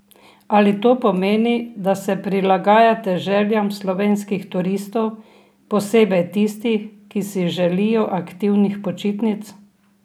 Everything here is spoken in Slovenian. Ali to pomeni, da se prilagajate željam slovenskih turistov, posebej tistih, ki si želijo aktivnih počitnic?